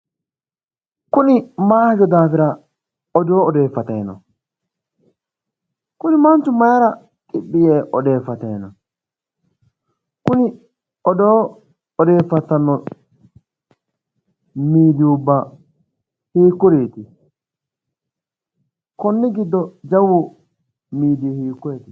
Kuni maayi hajo daafira odoo odeeffatayi no? Kuni manchu mayiira xiphi yee odeeffatayi no? Kuri odoo odeeffattayi noo miidiyubba hiikkuriiti? Kunni giddo jawu miidiyi hiikkoyeeti?